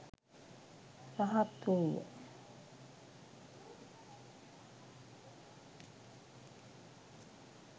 රහත්හු ය.